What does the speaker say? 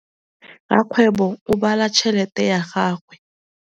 Rakgwêbô o bala tšheletê ya gagwe.